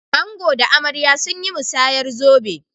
Ango da amarya sun yi musayar zobe.